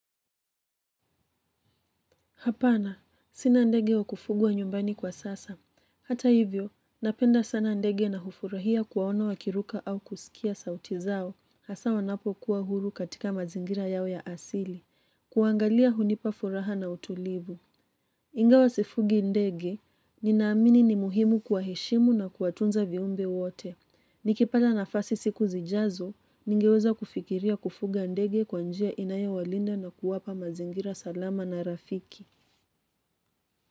Hapana, sina ndege wa kufugwa nyumbani kwa sasa. Hata hivyo, napenda sana ndege na hufurahia kuwaona wakiruka au kusikia sauti zao, hasa wanapokuwa huru katika mazingira yao ya asili, kuwaangalia hunipa furaha na utulivu. Ingawa sifugi ndege, ninaamini ni muhimu kuwaheshimu na kuwatunza viumbe wote. Nikipata nafasi siku zijazo, ningeweza kufikiria kufuga ndege kwa njia inayowalinda na kuwapa mazingira salama na rafiki.